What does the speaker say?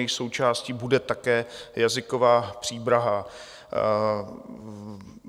Jejich součástí bude také jazyková příprava.